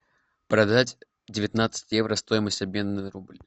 продать девятнадцать евро стоимость обмена на рубль